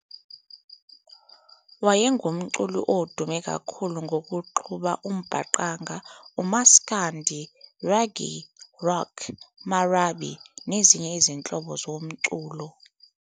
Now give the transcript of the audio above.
Wayengumculi odume kakhulu ngokuxuba uMbaqanga, Maskandi Reggae, Rock, Marabi nezinye izinhlobo zomculo.